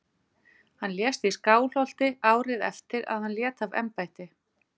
Hann lést í Skálholti árið eftir að hann lét af embætti.